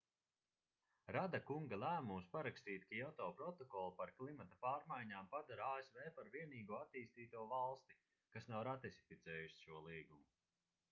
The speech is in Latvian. rada kunga lēmums parakstīt kioto protokolu par klimata pārmaiņām padara asv par vienīgo attīstīto valsti kas nav ratificējusi šo līgumu